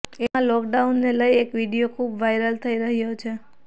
એવામાં લોકડાઉનને લઈ એક વીડિયો ખુબ વાયરલ થઈ રહ્યો છે